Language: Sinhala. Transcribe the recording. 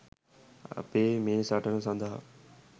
අපේ මේ සටන සඳහා